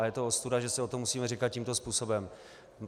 A je to ostuda, že si o to musíme říkat tímto způsobem.